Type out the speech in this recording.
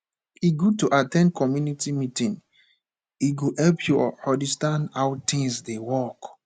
e good to at ten d community meeting e go help you understand how things dey work